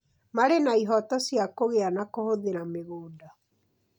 marĩ na ihooto cia kũgĩa na kũhũthĩra mĩgũnda,